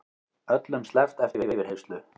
Öllum sleppt eftir yfirheyrslu